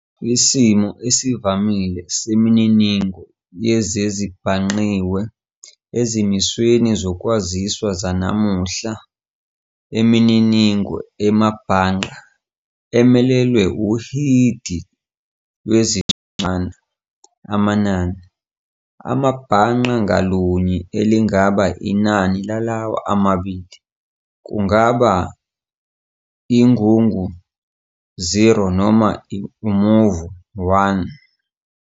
Isimo esivamile semininingo yezezibhangqiwe ezimisweni zokwaziswa zananuhla imininingo emabhangqa, emelelwa uhidi lwezincwana, amanani, amabhangqa ngalunye elingaba inani lalawa amabili, kungaba ingungu 0 noma umuvo 1.